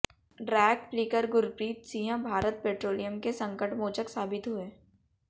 drag flicker Gurpreet Singh Bharat Petroleum के संकटमोचक साबित हुए